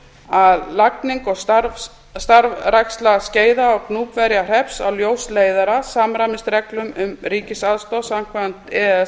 að lagning og starfræksla skeiða og gnúpverjahrepps á ljósleiðara samræmist reglum um ríkisaðstoð samkvæmt e e s